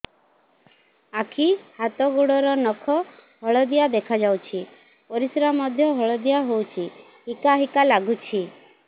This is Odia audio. ଆଖି ହାତ ଗୋଡ଼ର ନଖ ହଳଦିଆ ଦେଖା ଯାଉଛି ପରିସ୍ରା ମଧ୍ୟ ହଳଦିଆ ହଉଛି ହିକା ହିକା ଲାଗୁଛି